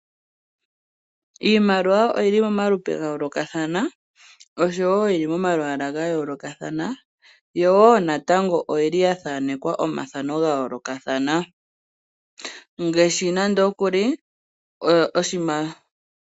Iimaliwa oyi li momalupe ga yoolokathana osho wo oyi li pamalwaala ga yoolokathana , yo wo natango oyi li ya thaanekwa omathano ga yoolokathana.